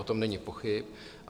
O tom není pochyb.